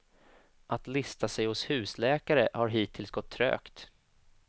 Att lista sig hos husläkare har hittills gått trögt.